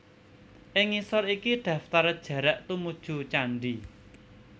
Ing ngisor iki daftar jarak tumuju candhi